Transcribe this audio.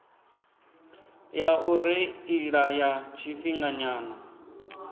ya u reila ya tshifhinganyana